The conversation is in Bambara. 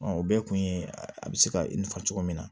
o bɛɛ kun ye a bɛ se ka i nafa cogo min na